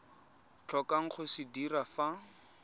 tlhokang go se dira fa